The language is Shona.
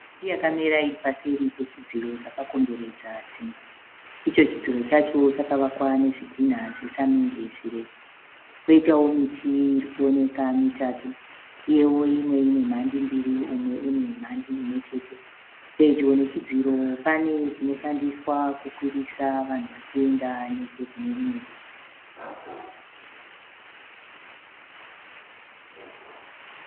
Miti yakamira iri paseri pechidziro chakakomberedza dzimba. Icho chidziro chacho chakavakwa nezvidhinha zvesamende zvirefu kwoitawo miti iri kuoneka mitatu uyewo imwe ine mhandi mbiri umwe une mhandi imwe chete. Pedyo nechidziro pane chinoshandiswa kukwirisa vanhu vachienda nechekune rimwe divi.